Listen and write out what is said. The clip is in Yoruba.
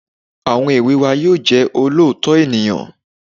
Àwọn èwe wa yóò jẹ́ olóòótọ́ ènìyàn